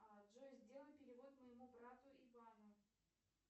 джой сделай перевод моему брату ивану